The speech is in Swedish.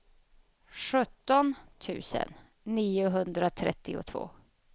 sjutton tusen niohundratrettiotvå